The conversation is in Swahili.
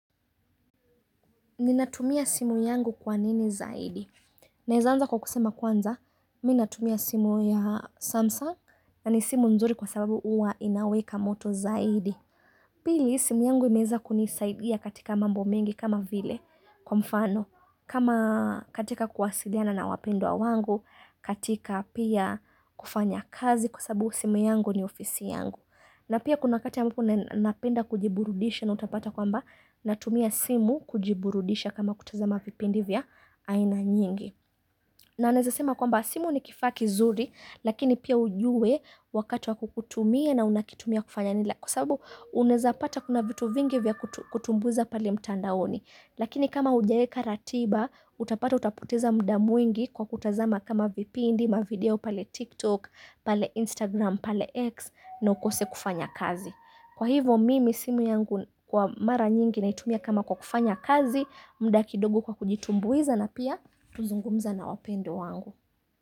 Ninatumia simu yangu kwa nini zaidi? Naeza anza kwa kusema kwanza, mi natumia simu ya Samsung na ni simu nzuri kwa sababu uwa inaweka moto zaidi. Pili simu yangu imeeza kunisaidia katika mambo mengi kama vile kwa mfano. Kama katika kuwasiliana na wapendwa wangu, katika pia kufanya kazi kwa sababu simu yangu ni ofisi yangu. Na pia kuna wakati ambapo na napenda kujiburudisha na utapata kwamba natumia simu kujiburudisha kama kutazama vipindi vya aina nyingi. Na naeza sema kwamba simu ni kifaa kizuri lakini pia ujue wakati wa kukutumia na unakitumia kufanya nini la kwa sabu unaeza pata kuna vitu vingi vya kutumbuiza pale mtandaoni. Lakini kama hujaeka ratiba, utapata utapoteza mda mwingi kwa kutazama kama vipindi, mavideo pale TikTok, pale Instagram, pale X na ukose kufanya kazi. Kwa hivo mimi simu yangu kwa mara nyingi naitumia kama kwa kufanya kazi, mda kidogo kwa kujitumbuiza na pia tuzungumza na wapendwa wangu.